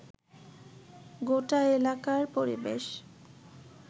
গোটা এলাকার পরিবেশ